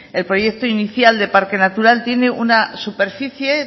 el proyecto inicial de parque natural tiene una superficie